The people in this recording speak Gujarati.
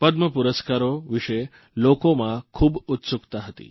પદ્મપુરસ્કારો વિશે લોકોમાં ખૂબ ઉત્સુકતા હતી